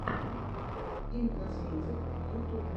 имкосметик в ютубе